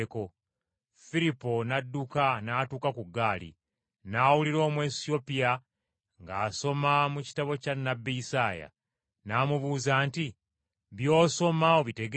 Firipo n’adduka n’atuuka ku ggaali, n’awulira Omwesiyopya ng’asoma mu kitabo kya nnabbi Isaaya. N’amubuuza nti, “By’osoma obitegeera?”